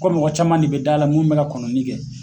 Ko mɔgɔ caman de bɛ da la mun bɛ ka kɔnɔni kɛ.